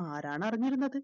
ആരാണറിഞ്ഞിരുന്നത്